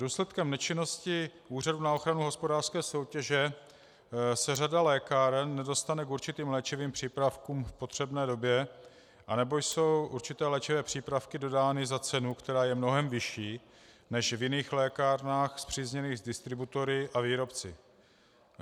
Důsledkem nečinnosti Úřadu pro ochranu hospodářské soutěže se řada lékáren nedostane k určitým léčivým přípravkům v potřebné době, anebo jsou určité léčivé přípravky dodány za cenu, která je mnohem vyšší než v jiných lékárnách spřízněných s distributory a výrobci.